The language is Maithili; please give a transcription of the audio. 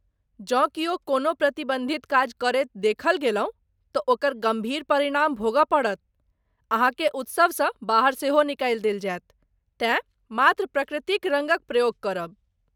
जँ कियो कोनो प्रतिबन्धित काज करैत देखल गेलहुँ तँ ओकर गम्भीर परिणाम भोगय पड़त, अहाँकेँ उत्सवसँ बाहर सेहो निकालि देल जायत, तेँ मात्र प्रकृतिक रङ्गक प्रयोग करब!